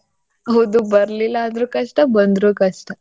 ಹೌದು ಬರಲಿಲ್ಲಾ ಅಂದ್ರೂ ಕಷ್ಟ ಬಂದ್ರೂ ಕಷ್ಟ .